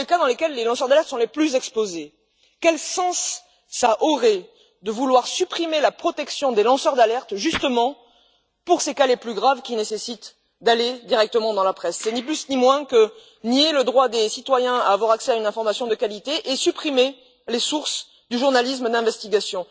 ce sont les cas dans lesquels les lanceurs d'alerte sont les plus exposés. Quel sens cela aurait il de vouloir supprimer la protection des lanceurs d'alerte justement pour ces cas les plus graves qui nécessitent de s'adresser directement à la presse? Ce n'est ni plus ni moins que nier le droit des citoyens à une information de qualité et supprimer les sources du journalisme d'investigation.